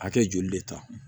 A kɛ joli de ta